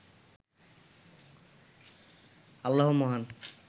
আল্লাহ মহান